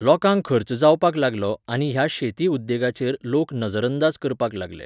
लोकांक खर्च जावपाक लागलो आनी ह्या शेती उद्देगाचेर लोक नजरअंदाज करपाक लागले